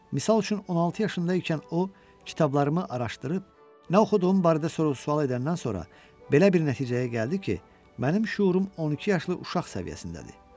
Misal üçün, 16 yaşında ikən o kitablarımı araşdırıb, nə oxuduğum barədə sual edəndən sonra belə bir nəticəyə gəldi ki, mənim şuurum 12 yaşlı uşaq səviyyəsindədir.